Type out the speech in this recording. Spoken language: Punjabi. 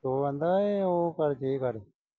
ਉਹ ਆਂਹਦਾ ਏ ਉਹ ਕਰ ਗਈ ਏ ਗੱਲ।